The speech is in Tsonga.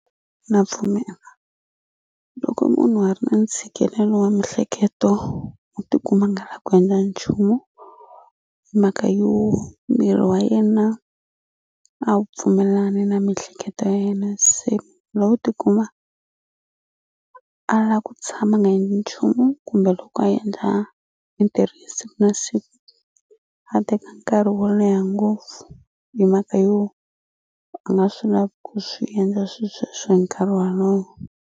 Na pfumela loko munhu a ri na ntshikelelo wa mihleketo u tikuma a nga la ku endla nchumu mhaka yo miri wa yena a wu pfumelelani na mihleketo ya yena se lowu tikuma a la ku tshama a nga endli nchumu kumbe loko a endla mintirho ya siku na siku a teka nkarhi wo leha ngopfu hi mhaka yo a nga swi lavi ku swi endla swi sweswo hi nkarhi walowo.